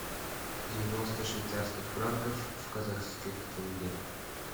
девяносто швейцарских франков в казахских тенге